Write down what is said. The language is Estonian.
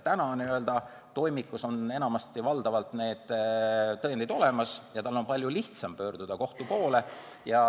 Praegu on toimikus enamasti valdavalt tõendid olemas ja tal on palju lihtsam pöörduda kohtu poole.